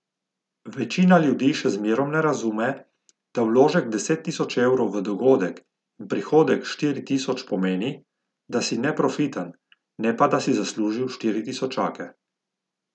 Večina ljudi še zmerom ne razume, da vložek deset tisoč evrov v dogodek in prihodek štiri tisoč pomeni, da si neprofiten, ne pa, da si zaslužil štiri tisočake.